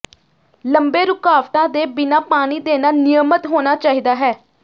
ਲੰਬੇ ਰੁਕਾਵਟਾਂ ਦੇ ਬਿਨਾਂ ਪਾਣੀ ਦੇਣਾ ਨਿਯਮਤ ਹੋਣਾ ਚਾਹੀਦਾ ਹੈ